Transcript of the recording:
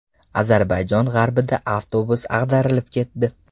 Ozarbayjon g‘arbida avtobus ag‘darilib ketdi.